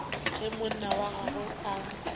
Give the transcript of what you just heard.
ge monna wa gagwe a